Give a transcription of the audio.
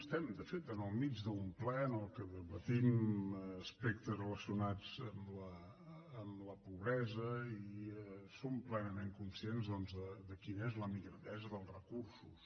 estem de fet enmig d’un ple en què debatem aspectes relacionats amb la pobresa i som plenament conscients doncs de quina és la migradesa dels recursos